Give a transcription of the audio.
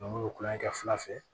n'u ye kulonkɛ kɛ fila fɛ